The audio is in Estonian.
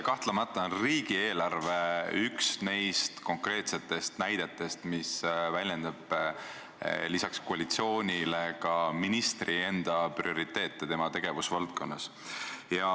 Kahtlemata on riigieelarve üks neist konkreetsetest näidetest, mis väljendab lisaks koalitsiooni vaadetele ka ministri enda prioriteete tema tegevusvaldkonnas.